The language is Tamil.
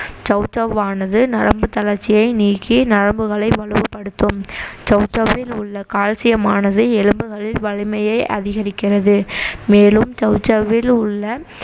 சௌசௌவானது நரம்பு தளர்ச்சியை நீக்கி நரம்புகளை வலுவுப்படுத்தும் சௌசௌவில் உள்ள calcium ஆனது எலும்புகளில் வலிமையை அதிகரிக்கிறது மேலும் சௌசௌவில் உள்ள